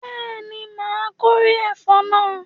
Bẹ́ẹ̀ni, my kórè ẹ̀fọ́ náà